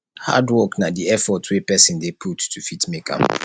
hardwork na di effort wey person dey put to fit make am